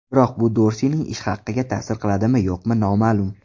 Biroq bu Dorsining ish haqiga ta’sir qiladimi-yo‘qmi noma’lum.